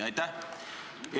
Aitäh!